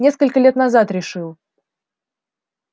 несколько лет назад решил